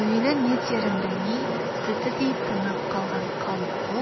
әуелі не дерін білмей сілтідей тынып қалған қалың қол